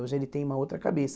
Hoje ele tem uma outra cabeça.